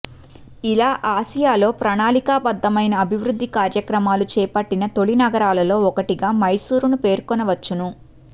ఇలా ఆసియాలో ప్రణాళికా బద్ధమైన అభివృద్ధి కార్యక్రామలు చేపట్టిన తొలి నగరాలలో ఒకటిగా మైసూరును పేర్కొనవచ్చును